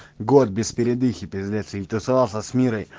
год без передыхи пиздец тусовался с мирой